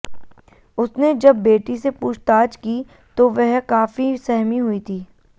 उसने जब बेटी से पूछताछ की तो वह काफी सहमी हुई थी